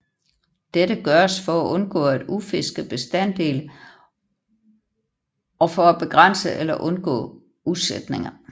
Dette gøres for at undgå at udfiske bestande og for at begrænse eller undgå udsætninger